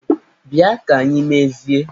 Bịa ka anyị mezie!